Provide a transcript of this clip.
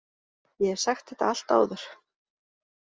Ég hef sagt þetta allt áður.